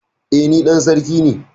E, ni dan sarki ne.